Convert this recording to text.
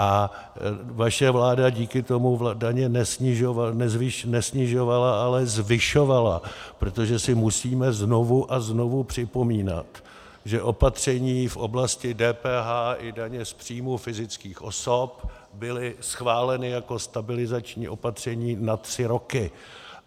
A vaše vláda díky tomu daně nesnižovala, ale zvyšovala, protože si musíme znovu a znovu připomínat, že opatření v oblasti DPH i daně z příjmu fyzických osob byla schválena jako stabilizační opatření na tři roky.